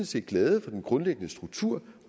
set glade for den grundlæggende struktur